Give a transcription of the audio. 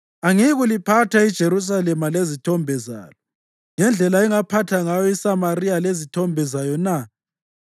angiyikuliphatha iJerusalema lezithombe zalo ngendlela engaphatha ngayo iSamariya lezithombe zayo na?’ ”